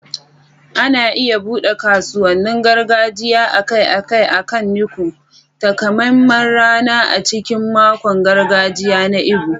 Ana iya buɗe kasuwannin gargajiya akai-akai akan Nkwo, takamaiman rana a cikin makon gargajiya na Igbo.